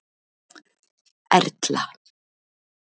Erla